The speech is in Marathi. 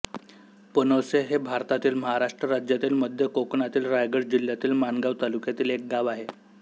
पानोसे हे भारतातील महाराष्ट्र राज्यातील मध्य कोकणातील रायगड जिल्ह्यातील माणगाव तालुक्यातील एक गाव आहे